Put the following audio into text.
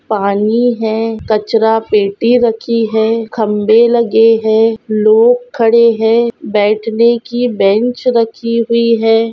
पानी है कचरा पेटी रखी है खम्भे लगे है लोग खड़े है बैठने की बेंच रखी हुई है।